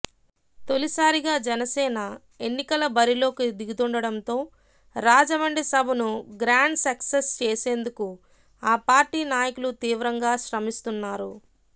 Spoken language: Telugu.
తొలిసారిగా జనసేన ఎన్నికల బరిలోకి దిగుతుండడంతో రాజమండ్రి సభను గ్రాండ్ సక్సెస్ చేసేందుకు ఆ పార్టీ నాయకులు తీవ్రంగా శ్రమిస్తున్నారు